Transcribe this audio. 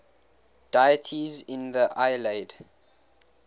deities in the iliad